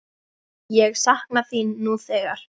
Ég sakna þín nú þegar.